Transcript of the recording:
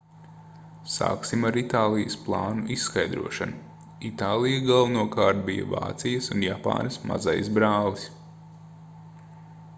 sāksim ar itālijas plānu izskaidrošanu itālija galvenokārt bija vācijas un japānas mazais brālis